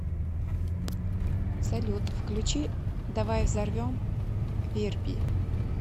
салют включи давай взорвем верби